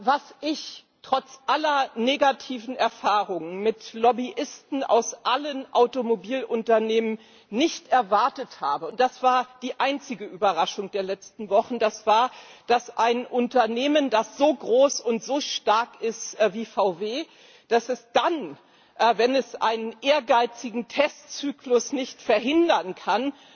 Was ich trotz aller negativen Erfahrungen mit Lobbyisten aus allen Automobilunternehmen nicht erwartet habe und das war die einzige Überraschung der letzten Wochen das war, dass ein Unternehmen, das so groß und so stark ist wie VW, dann, wenn es einen ehrgeizigen Testzyklus nicht verhindern kann,